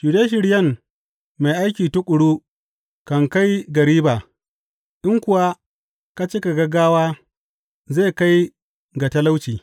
Shirye shiryen mai aiki tuƙuru kan kai ga riba in kuwa ka cika gaggawa zai kai ga talauci.